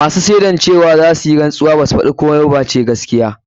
Masu shaidan zasu yi rantsuwa cewa baza su faɗi komai ba face gaskiya.